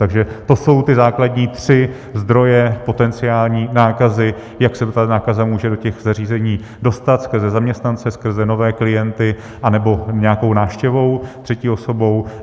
Takže to jsou ty základní tři zdroje potenciální nákazy, jak se ta nákaza může do těch zařízení dostat, skrze zaměstnance, skrze nové klienty anebo nějakou návštěvou, třetí osobou.